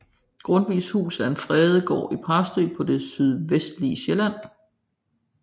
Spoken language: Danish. Grundtvigs Hus er en fredet gård i Præstø på det sydvestlige Sjælland